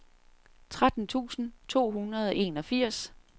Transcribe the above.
tretten tusind to hundrede og enogfirs